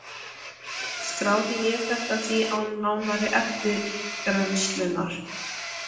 Skráði ég þetta því án nánari eftirgrennslunar.